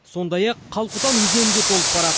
сондай ақ қалқұтан өзені де толып барады